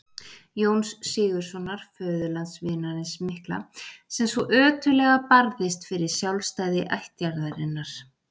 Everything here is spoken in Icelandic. Jóns Sigurðssonar, föðurlandsvinarins mikla, sem svo ötullega barðist fyrir sjálfstæði ættjarðarinnar.